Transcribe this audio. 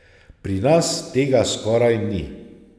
Pri nas tega skoraj ni.